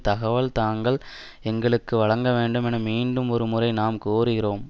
தகவல்களை தாங்கள் எங்களுக்கு வழங்க வேண்டும் என மீண்டும் ஒரு முறை நாம் கோருகிறோம்